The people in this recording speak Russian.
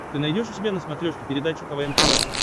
ты найдешь у себя на смотрешке передачу квн тв